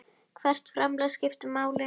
Hvert framlag skiptir máli.